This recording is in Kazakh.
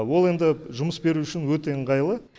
ол енді жұмыс беру үшін өте ыңғайлы